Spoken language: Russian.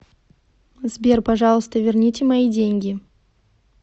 сбер пожалуйста верните мои деньги